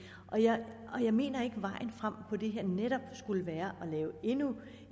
jeg mener ikke at vejen frem i det her netop skulle være at lave endnu